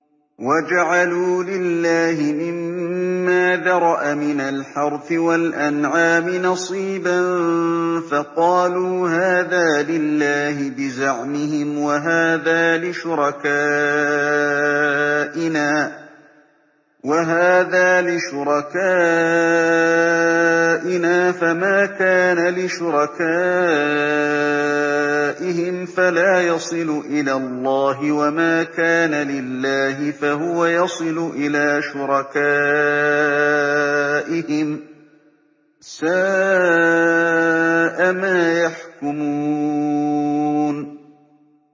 وَجَعَلُوا لِلَّهِ مِمَّا ذَرَأَ مِنَ الْحَرْثِ وَالْأَنْعَامِ نَصِيبًا فَقَالُوا هَٰذَا لِلَّهِ بِزَعْمِهِمْ وَهَٰذَا لِشُرَكَائِنَا ۖ فَمَا كَانَ لِشُرَكَائِهِمْ فَلَا يَصِلُ إِلَى اللَّهِ ۖ وَمَا كَانَ لِلَّهِ فَهُوَ يَصِلُ إِلَىٰ شُرَكَائِهِمْ ۗ سَاءَ مَا يَحْكُمُونَ